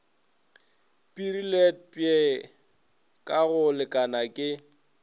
pireletpwe ka go lekana ke